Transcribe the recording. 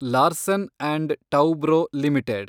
Larsen and Toubro limited